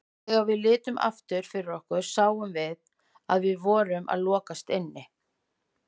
Þegar við litum aftur fyrir okkur sáum við að við vorum að lokast inni.